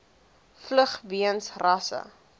vlug weens rasse